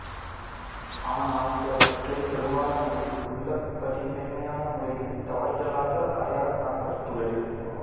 ஆனால் பிறவற்றில் பெரும்பாலானவை உள்ளபடி நேர்மையான முறையில் தவறுதலாக அடையாளம் காணப்பட்டுள்ளது